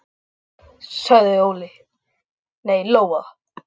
Takk, sagði Lóa.